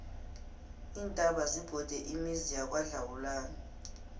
iintaba zibhode imizi yangakwadlawulale